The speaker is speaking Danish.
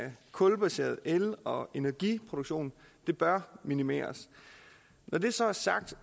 kulbaseret el og energiproduktion bør minimeres når det så er sagt